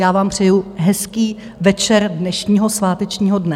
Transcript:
Já vám přeju hezký večer dnešního svátečního dne.